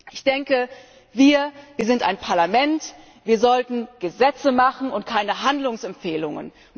Ich denke, wir sind ein Parlament Wir sollten Gesetze machen und keine Handlungsempfehlungen.